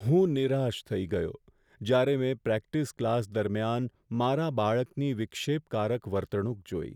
હું નિરાશ થઈ ગયો જ્યારે મેં પ્રેક્ટિસ ક્લાસ દરમિયાન મારા બાળકની વિક્ષેપકારક વર્તણૂક જોઈ.